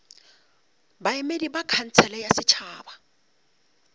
baemedi ba khansele ya setšhaba